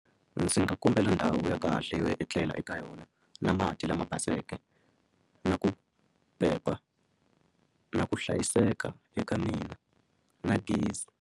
Ndzi nga kombela ndhawu ya kahle yo etlela eka yona na mati lama baseke na ku pepa na ku hlayiseka eka mina na gezi.